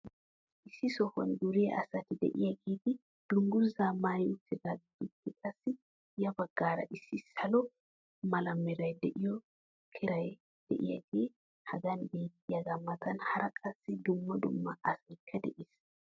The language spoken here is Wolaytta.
Issi sohuwan duriyaa asati diyaageeti dungguzaa maayi utaageetuppe qassi ya bagaara issi salo mala meray de'iyo keray diyaagee hagan beetiyaagaa matan hara qassi dumma dumma asaykka de'es.